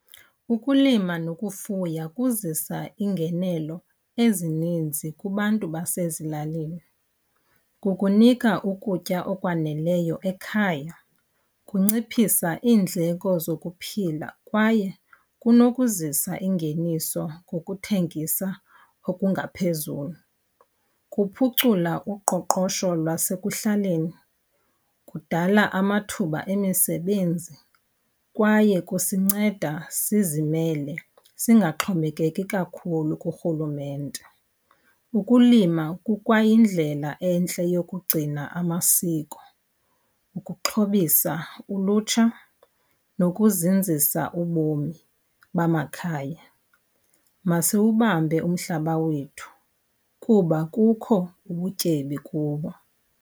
Ukulima nokufuya kuzisa iingenelo ezininzi kubantu basezilalini. Kukunika ukutya okwaneleyo ekhaya, kunciphisa iindleko zokuphila kwaye kunokuzisa ingeniso ngokuthengisa okungaphezulu. Kuphucula uqoqosho lwasekuhlaleni, kudala amathuba emisebenzi, kwaye kusinceda sizimele singaxhomekeki kakhulu kurhulumente. Ukulima kukwayindlela entle yokugcina amasiko, ukuxhobisa ulutsha, nokuzinzisa ubomi bamakhaya. Masiwubambe umhlaba wethu kuba kukho ubutyebi kubo.